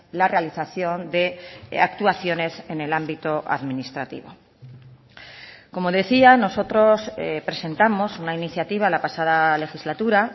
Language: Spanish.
la realización de actuaciones en el ámbito administrativo como decía nosotros presentamos una iniciativa la pasada legislatura